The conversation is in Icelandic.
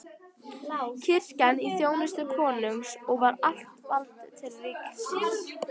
Kirkjan í þjónustu konungs og allt vald til ríkisins!